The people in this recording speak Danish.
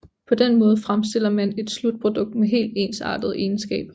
På den måde fremstiller man et slutprodukt med helt ensartede egenskaber